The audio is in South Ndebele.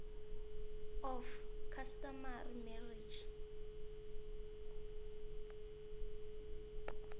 of customary marriage